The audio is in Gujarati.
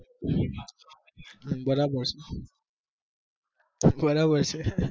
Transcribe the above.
બરાબર છે